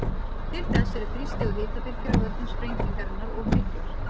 Til þess eru þrýsti- og hitabylgjur af völdum sprengingarinnar of miklar.